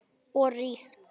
Og ríkt.